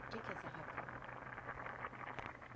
Que que é sarrar campo?